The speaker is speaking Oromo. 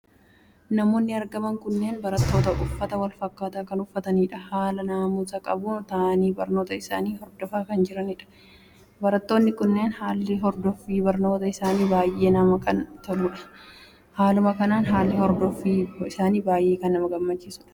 Namoonni argaman kunneen barattoota. Uffata walfakkaataa kan uffataniidha. Haala naamusa qabuun taa'anii barnoota isaanii Hordofaa kan jiraniidha. Barattoonni kunniin haalli hordoffii barnoota isaanii baay'ee kan namatti toluudha. Haaluma kanaan haalli hordoffii isaanii baay'ee kan nama gammachiisuudha.